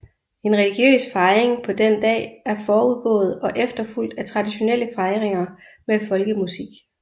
En religiøs fejring på den dag er forudgået og efterfulgt af traditionelle fejringer med folkemusik